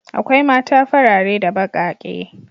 Akwai mata farare da baƙaƙe.